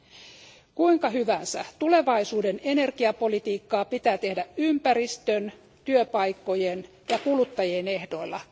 Olkoon kuinka hyvänsä, tulevaisuuden energiapolitiikkaa pitää tehdä ympäristön, työpaikkojen ja kuluttajien ehdoilla.